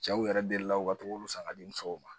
Cɛw yɛrɛ deli la u ka gogoro san ka di musow ma